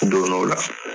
Don n'o la